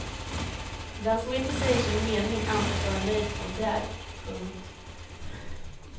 Den som inte säger sin mening antas vara nöjd som det är. punkt